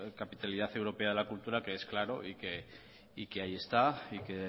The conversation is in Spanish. capitalidad europea de la cultura que es claro y que ahí está y que